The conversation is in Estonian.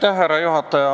Austatud härra juhataja!